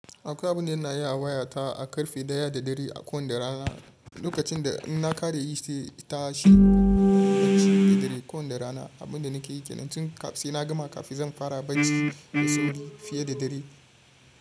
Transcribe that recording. Akwai abin da yana yi a wayata a karfe ɗaya da dare a kowanda rana. Lokacin da ina ƙare yi shi, ta shi, baci da dare kowanda rana. Abin da nake yi ke nan tun sai na gama kafin zan fara bacci da sauƙi fiye da dari.